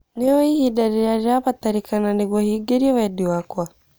ni ūwi ihida rirīa rīrabatarīkana nīguo hingirio wendi wakwa